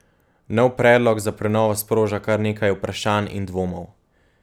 Nov predlog za prenovo sproža kar nekaj vprašanj in dvomov.